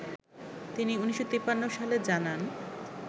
তিনি ১৯৫৩ সালে জানান